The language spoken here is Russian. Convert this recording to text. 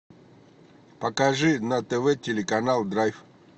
покажи на тв телеканал драйв